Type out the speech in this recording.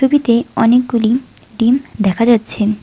ছবিতে অনেকগুলি ডিম দেখা যাচ্ছে।